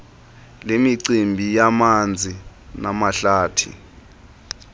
lemicimbi yamanzi namahlathi